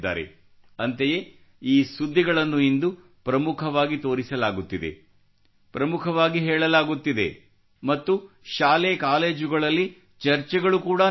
ಅಂತೆಯೇ ಈ ಸುದ್ದಿಗಳನ್ನು ಇಂದು ಪ್ರಮುಖವಾಗಿ ತೋರಿಸಲಾಗುತ್ತಿದೆ ಪ್ರಮುಖವಾಗಿ ಹೇಳಲಾಗುತ್ತಿದೆ ಮತ್ತು ಶಾಲೆ ಕಾಲೇಜುಗಳಲ್ಲಿ ಚರ್ಚೆಗಳು ಕೂಡಾ ನಡೆಯುತ್ತವೆ